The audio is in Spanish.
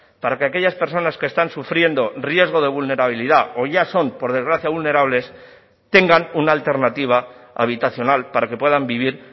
para que aquellas personas que están sufriendo riesgo de vulnerabilidad o ya son por desgracia vulnerables tengan una alternativa habitacional para que puedan vivir